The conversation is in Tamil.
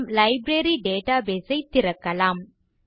நம் லைப்ரரி டேட்டாபேஸ் ஐ திறக்கலாம்